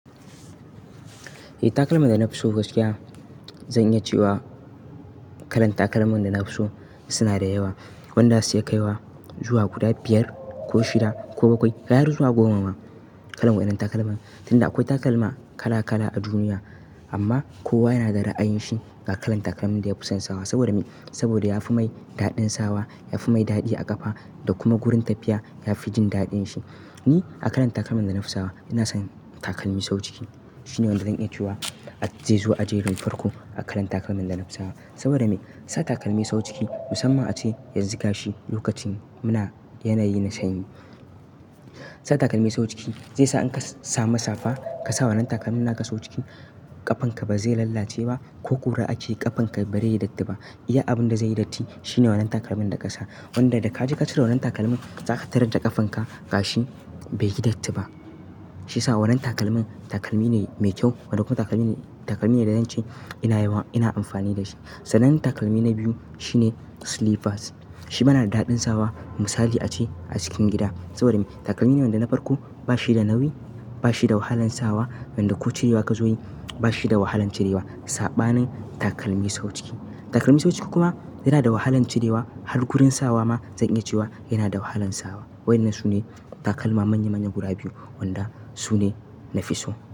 Eh takalman da na fi so gaskiya, zan iya cewa kalan takalman da na fi so suna da yawa. Wanda za su iya kaiwa zuwa guda biyar ko shida ko bakwai, ga har zuwa goma ma kalan waɗannan takalman. Tunda akwai takalma kala kala a duniya, amma kowa yana da ra'ayin shi ga kalan takalmin da ya fi son sawa saboda me, saboda ya fi mai daɗin sawa, ya fi mai daɗi a ƙafa da kuma wurin tafiya ya fi jin daɗin shi. Ni a kalan takalman da na fi sawa ina son takalmi sau ciki. Shi ne wanda zan iya cewa zai zo a jerin farko a kalan takalman da na fi sawa. Saboda me? Sa takalmi sau ciki musamman ace yanzu ga shi lokacin muna yanayi na sanyi. Sa takalmi sau ciki zai sa in ka sa mu safa ka sa wannan takalmin naka sau ciki ƙafanka ba zai lalace ba ko kura ake ƙafanka barai yi datti ba. Iya abin da zai yi datti shi ne wannan takalmin da ka sa. Wanda idan ka ji ka cire wannan takalmin za ka tarar da ƙafanka gashi bai yi datti ba. Shi sa wannan takalmin takalmi ne mai kyau wato kuma takalmi ne, takalmi ne da zan ce ina yawa ina amfani da shi. Sanin takalmi na biyu shine slippers. Shi ma nada daɗin sawa misali ace a cikin gida. Saboda me? Takalmi ne wanda na farko ba shi da nauyi, ba shi da wahalan sawa idan da ko cirewa ga zoyi ba shi da wahalan cirewa. Saɓanin takalmi sau ciki. Takalmi sau ciki kuma yana da wahalan cirewa, har gurin sawa ma zan iya cewa yana da wahalan sawa. Waɗannan su ne takalma manya manya guda biyu wanda su ne na fi so.